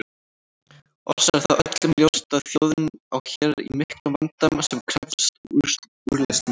Oss er það öllum ljóst að þjóðin á hér í miklum vanda sem krefst úrlausnar.